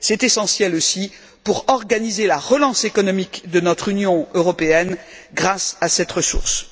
C'est essentiel aussi pour organiser la relance économique de notre Union européenne grâce à cette ressource.